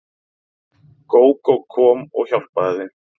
Gógó kom og hjálpaði þeim.